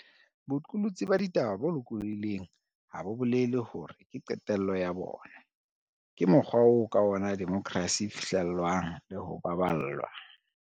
Boqolotsi ba ditaba bo loko llohileng ha bo bolele hore ke qetello ya bona. Ke mokgwa oo ka ona demokrasi e fihle llwang le ho baballwa.